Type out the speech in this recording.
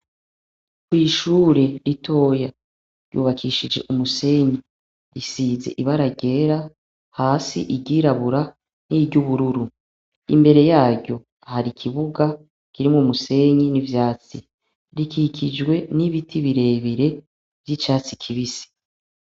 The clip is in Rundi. Ni ishure ritoya ryubakishijwe umusenyi risize ibara ryera hasi iryirabura n'iry'ubururu imbere yayo hari kibuga kirimwo umusenyi n'ivyatsi rikikijwe n'ibiti birebire vy'icyatsi kibisi.